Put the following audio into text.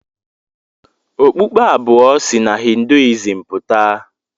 Okpukpe abụọ si na Hinduism pụta.